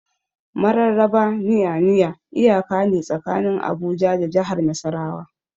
Mararraba Nya-Nya iyaka ne tsakanin Abuja da jahar Nasarawa.